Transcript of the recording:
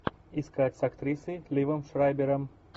искать с актрисой ливом шрайбером